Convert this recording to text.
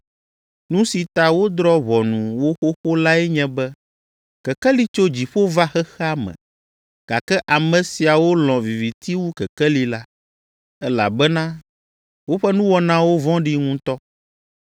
Nu si ta wodrɔ̃ ʋɔnu wo xoxo lae nye be Kekeli tso dziƒo va xexea me, gake ame siawo lɔ̃ viviti wu Kekeli la, elabena woƒe nuwɔnawo vɔ̃ɖi ŋutɔ.